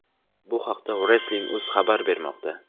Bu haqda Wrestling.uz xabar bermoqda .